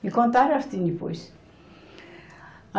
Me contaram assim depois. A